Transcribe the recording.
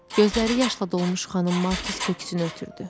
Gözləri yaşla dolmuş xanım Markis köksünü ötürdü.